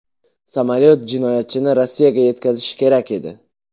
Samolyot jinoyatchini Rossiyaga yetkazishi kerak edi.